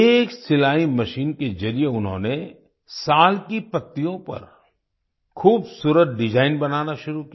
एक सिलाई मशीन के जरिए उन्होंने साल की पत्तियों पर खूबसूरत डिजाइन बनाना शुरू किया